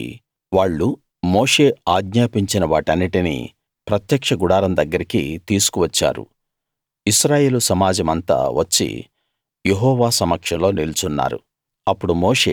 కాబట్టి వాళ్ళు మోషే ఆజ్ఞాపించిన వాటన్నిటినీ ప్రత్యక్ష గుడారం దగ్గరికి తీసుకు వచ్చారు ఇశ్రాయేలు సమాజమంతా వచ్చి యెహోవా సమక్షంలో నిల్చున్నారు